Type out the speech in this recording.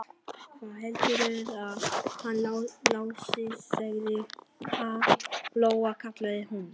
Hvað heldurðu að hann Lási segði, ha, Lóa-Lóa, kallaði hún.